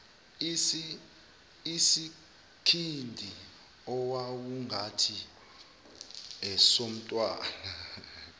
isikhindi owawungathi esomntwana